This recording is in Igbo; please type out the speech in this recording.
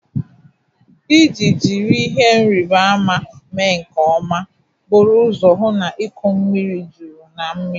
Iji jiri ihe nrịbama mee nke ọma, buru ụzọ hụ na iko mmiri juru na mmiri.